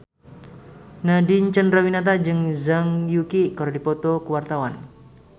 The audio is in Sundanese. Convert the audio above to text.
Nadine Chandrawinata jeung Zhang Yuqi keur dipoto ku wartawan